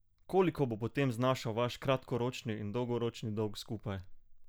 Koliko bo potem znašal vaš kratkoročni in dolgoročni dolg skupaj?